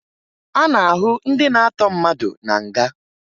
A na-ahụ ndị na-atọ mmadụ na nga